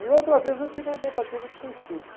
E outra vez eu tive uma tentativa de suicídio.